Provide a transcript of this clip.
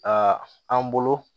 Aa an bolo